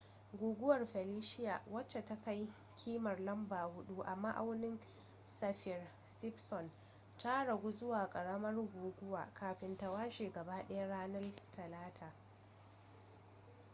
guguwar felicia wadda ta kai kimar lamba 4 a ma'aunin saffir-simpson ta ragu zuwa karamar guguwa kafin ta washe gaba daya ranar talata